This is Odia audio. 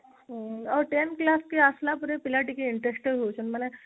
ଆଉ ten class କୁ ଆସିଲା ପିଲା ଟିକେ interested ହଉଛନ୍ତି ମାନେ